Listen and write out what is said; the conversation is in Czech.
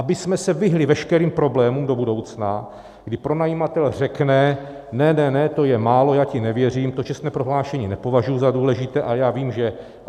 Abychom se vyhnuli veškerým problémům do budoucna, kdy pronajímatel řekne ne, ne, ne, to je málo, já ti nevěřím, to čestné prohlášení nepovažuji za důležité a já vím, že...